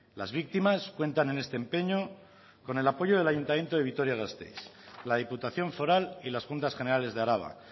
las victimas cuentan en este empeño con el apoyo del ayuntamiento de vitoria gasteiz la diputación foral y las juntas generales de araba